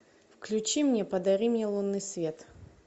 включи мне подари мне лунный свет